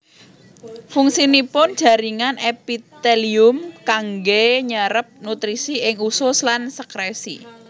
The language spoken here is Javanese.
Fungsinipun jaringan èpitèlium kanggè nyérép nutrisi ing usus lan sèkrèsi